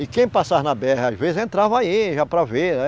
E quem passava na bê erre, às vezes, entrava aí, já para ver, né?